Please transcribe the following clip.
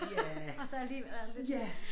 Og så alligevel er der lidt